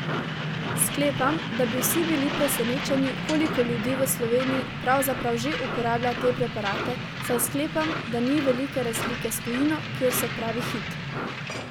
Sklepam da bi vsi bili presenečeni koliko ljudi v Sloveniji pravzaprav že uporablja te preparate, saj sklepam, da ni velike razlike s tujino, kjer so pravi hit.